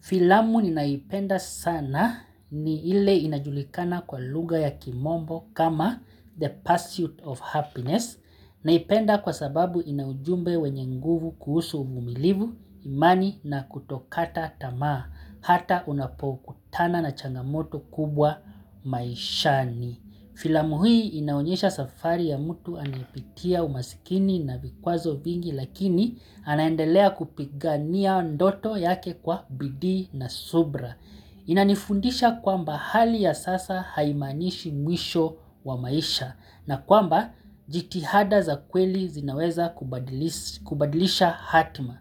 Filamu ninayoipenda sana ni ile inajulikana kwa lugha ya kimombo kama the pursuit of happiness Naipenda kwasababu ina ujumbe wenye nguvu kuhusu uvumilivu, imani na kutokata tamaa Hata unapokutana na changamoto kubwa maishani Filamu hii inaonyesha safari ya mutu anaepitia umasikini na vikwazo vingi lakini anaendelea kupigania ndoto yake kwa bidi na subra. Inanifundisha kwamba hali ya sasa haimanishi mwisho wa maisha na kwamba jitihada za kweli zinaweza kubadilisha hatma.